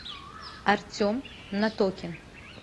артем натокин